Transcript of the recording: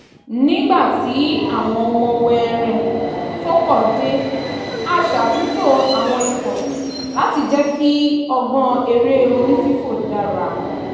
nígbà tí àwọn ọmọ wẹẹrẹẹ tó pọ̀ dé a ṣàtúntò àwọn ikọ̀ láti jẹ́ kí ọgbọ́n eré oní-fífò dára